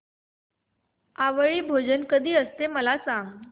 आवळी भोजन कधी असते मला सांग